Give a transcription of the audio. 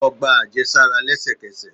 Lọ gba ajesara lẹsẹkẹsẹ!